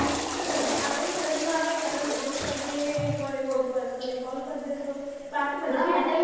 બરાબર આપણે ફરજ માં આવે કે આપણે message કરી દઈએ એવું હોય તો એકવાર call કરી દઈશું બાકી